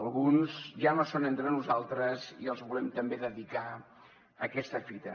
alguns ja no són entre nosaltres i els volem també dedicar aquesta fita